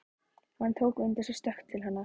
Hann tók undir sig stökk til hennar.